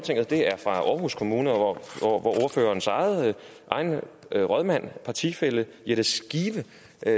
aarhus kommune hvor ordførerens egen rådmand partifælle jette skive